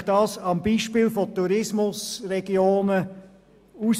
Ich zeige Ihnen das am Beispiel der Tourismusregionen auf: